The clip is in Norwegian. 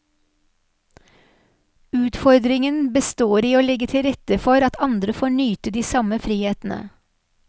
Utfordringen består i å legge til rette for at andre får nyte de samme frihetene.